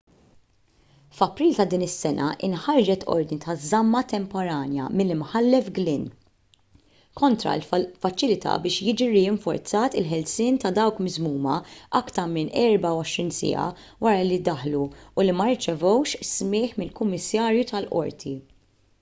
f'april ta' din is-sena inħarġet ordni ta' żamma temporanja mill-imħallef glynn kontra l-faċilità biex jiġi rinforzat il-ħelsien ta' dawk miżmuma aktar minn 24 siegħa wara li ddaħlu u li ma rċevewx smigħ minn kummissarju tal-qorti